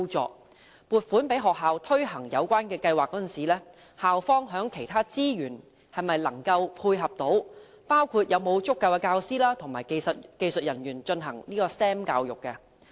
在撥款予學校推行有關計劃時，須考慮校方在其他資源方面能否配合，包括是否有足夠的教師和技術人員推行 STEM 教育？